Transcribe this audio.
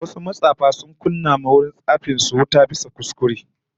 Wasu matsafa sun kunna wa wajen tsafin su wuta bisa kuskure